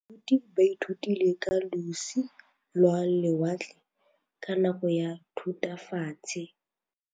Baithuti ba ithutile ka losi lwa lewatle ka nako ya Thutafatshe.